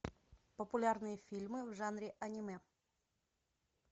популярные фильмы в жанре аниме